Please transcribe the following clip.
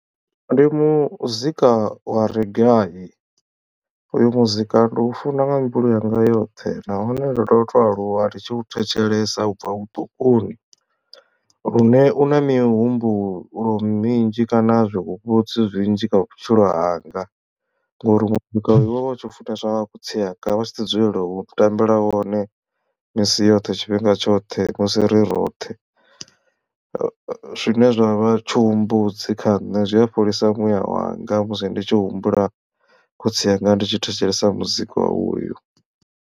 Ndi muzika wa reggae uyo muzika ndi u funa nga mbilu yanga yoṱhe nahone ndo to to aluwa nditshi u thetshelesa ubva vhuṱukuni lune u na mihumbulo minzhi kana zwihumbudzi zwinzhi kha vhutshilo hanga ngori muzika we wa vha u tshi funeswa nga khotsi anga vha tshi ḓi dzulela u tambela wone misi yoṱhe tshifhinga tshoṱhe musi ri roṱhe zwine zwavha tshihumbudzi kha nṋe zwi a fholisa muyawanga musi ndi tshi humbula khotsi yanga ndi tshi thetshelesa muzika wa uyo.